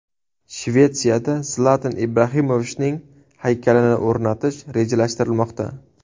Shvetsiyada Zlatan Ibrahimovichning haykalini o‘rnatish rejalashtirilmoqda.